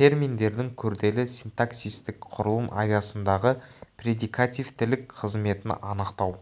терминдердің күрделі синтаксиситік құрылым аясындағы предикативтілік қызметін анықтау